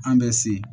An bɛ se